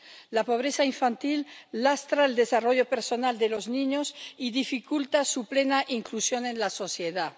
La pobreza infantil lastra el desarrollo personal de los niños y dificulta su plena inclusión en la sociedad.